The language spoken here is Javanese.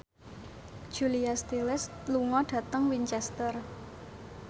Julia Stiles lunga dhateng Winchester